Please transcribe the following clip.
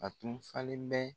A tun falen bɛ